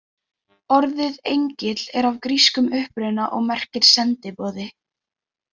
Orðið engill er af grískum uppruna og merkir sendiboði.